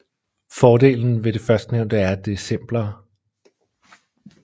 Fordelen ved det førstnævnte er at det er simplere